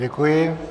Děkuji.